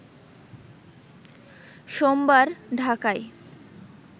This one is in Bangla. সোমবার ঢাকায়